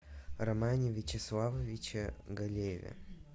романе вячеславовиче галееве